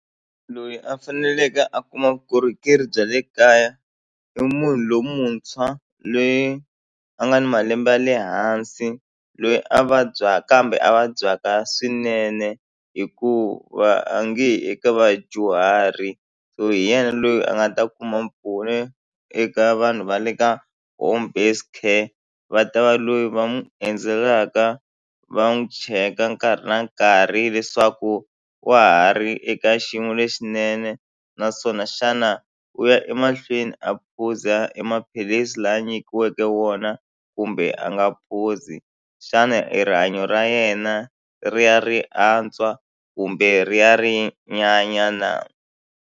Loyi a faneleke a kuma vukorhokeri bya le kaya i munhu lomuntshwa loyi a nga ni malembe ya le hansi loyi a vabyaka kambe a vabyaka swinene hikuva a nge yi eka vadyuhari so hi yena loyi a nga ta kuma mpfuno eka vanhu va le ka home based care va ta va loyi va n'wi endzelaka va n'wi cheka nkarhi na nkarhi leswaku wa ha ri eka xiyimo lexinene naswona xana u ya emahlweni a phuza e maphilisi lama a nyikiweke wona kumbe a nga phuzi xana i rihanyo ra yena ri ya ri antswa kumbe ri ya ri nyanya na.